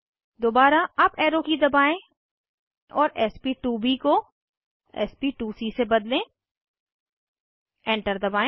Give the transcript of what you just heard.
दोबारा up arrow की दबाएं और sp2ब को sp2सी से बदलें एंटर दबाएं